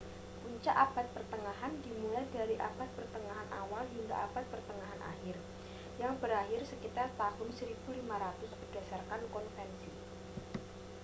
puncak abad pertengahan dimulai dari abad pertengahan awal hingga abad pertengahan akhir yang berakhir sekitar tahun 1500 berdasarkan konvensi